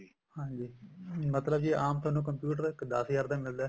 ਹਾਂਜੀ ਮਤਲਬ ਜੇ ਆਮ ਥੋਨੂੰ computer ਦਸ ਹਜ਼ਾਰ ਦਾ ਮਿਲਦਾ